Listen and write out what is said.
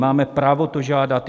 Máme právo to žádat.